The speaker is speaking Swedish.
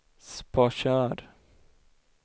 Sparsör